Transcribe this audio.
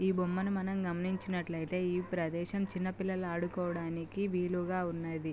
ఈ బొమ్మని మనం గమనించినట్లయితే ఈ ప్రదేశం చిన్న పిల్లల ఆడుకునే వాడికి వీలుగా ఉండేది.